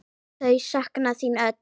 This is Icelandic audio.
Þau sakna þín öll.